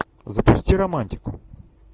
запусти романтику